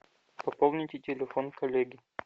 пополните телефон коллеги